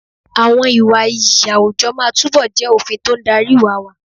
Àwọn ìwà iyì àwùjọ máa túbọ̀ jẹ́ òfin tó ń darí ìwà wa.